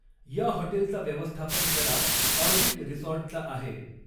या हॉटेलचा व्यवस्थापन करार ऑर्बिट रिसॉर्टचा आहे